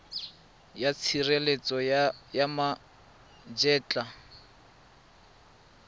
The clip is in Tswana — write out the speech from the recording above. ya tshireletso ya ma etla